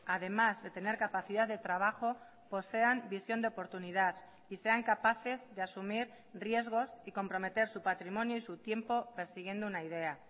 además de tener capacidad de trabajo posean visión de oportunidad y sean capaces de asumir riesgos y comprometer su patrimonio y su tiempo persiguiendo una idea